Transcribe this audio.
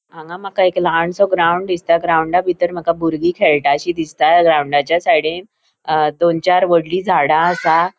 हांगा माका एक ल्हानसों ग्राउन्ड दिसता ग्रॉउंडाबितर माका बुर्गी खेळटाशी दिसता ग्रॉउंडाच्या साइडीन अ दोन चार वडली झाडा आसा.